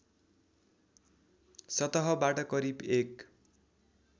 सतहबाट करिब एक